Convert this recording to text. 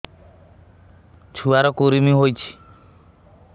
ଛୁଆ ର କୁରୁମି ହୋଇଛି